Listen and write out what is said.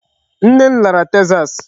Nne m lara Texas.